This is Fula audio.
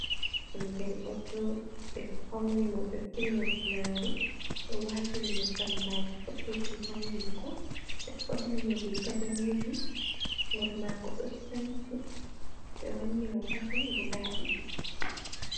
Ɓingel ɗo jooɗi. Ɓe fauni mo, ɓe fini mo pinari, ɓe waatini mo jambaki boɗeejum haa hunduko, ɓe ɓorni mo riga daneejum, hoore maako ɗo sanci, ɓe wanni mo pakin guda ɗiɗi.